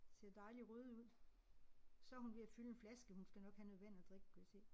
Ser dejlig røde ud. Så hun ved at fylde en flaske hun skal nok have noget vand at drikke kunne jeg se